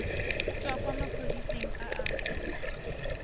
tswa kwa maphodiseng a a